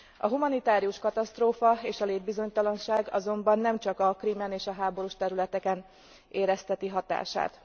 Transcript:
A humanitárius katasztrófa és a létbizonytalanság azonban nem csak a Krímen és a háborús területeken érezteti hatását.